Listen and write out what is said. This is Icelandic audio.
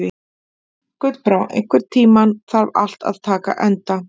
Gullbrá, einhvern tímann þarf allt að taka enda.